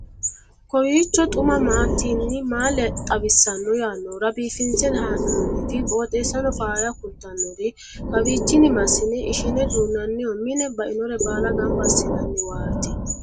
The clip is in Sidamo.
kowiicho xuma mtini maa xawissanno yaannohura biifinse haa'noonniti qooxeessano faayya kultannori kawiichi massine ishine duunnanniho mine bainore baala gamba assinanniwaati